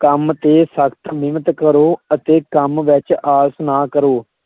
ਕੰਮ ਤੇ ਸਖਤ ਮਿਹਨਤ ਕਰੋ ਅਤੇ ਕੰਮ ਵਿੱਚ ਆਲਸ ਨਾ ਕਰੋ।